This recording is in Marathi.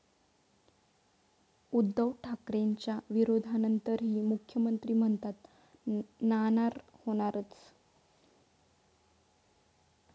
उद्धव ठाकरेंच्या विरोधानंतरही मुख्यमंत्री म्हणतात नाणार होणारच!